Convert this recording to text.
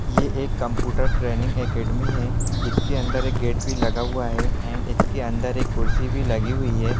ये एक computer training academy है जिसके अंदर एक गेट भी लगा हुआ है एण्ड इसके अंदर एक कुर्सी भी लगी हुई है ।